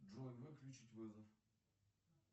джой выключить вызов